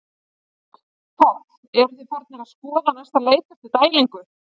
Páll: Eruð þið farnir að skoða næsta leik eftir dælingu?